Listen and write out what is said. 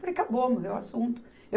Falei, acabou, morreu o assunto.